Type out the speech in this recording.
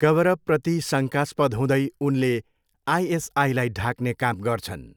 कभरअपप्रति शङ्कास्पद हुँदै, उनले आइएसआईलाई ढाक्ने काम गर्छन्।।